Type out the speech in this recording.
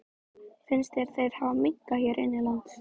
Lekandi er langalgengastur af eiginlegum kynsjúkdómum.